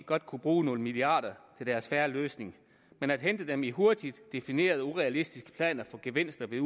godt kunne bruge nogle milliarder til deres en fair løsning men at hente dem i hurtigt definerede og urealistiske planer for gevinster ved